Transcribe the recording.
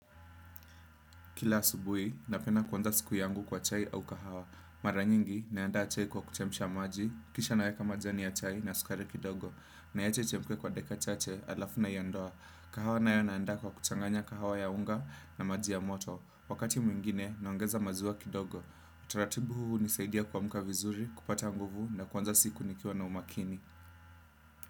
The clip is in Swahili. Kila asubui, napenda kuanza siku yangu kwa chai au kahawa. Mara nyingi, naandaa chai kwa kuchemsha maji, kisha naweka majani ya chai na sukari kidogo. Niache ichemke kwa dakika chache, alafu nayiondoa. Kahawa nayo naandaa kwa kuchanganya kahawa ya unga na maji ya moto. Wakati mwingine, naongeza maziwa kidogo. Utaratibu huu hunisaidia kuamuka vizuri, kupata nguvu na kwanza siku nikiwa na umakini.